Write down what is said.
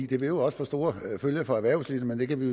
det vil også få store følger for erhvervslivet men det kan vi